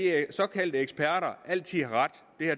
såkaldte eksperter altid har ret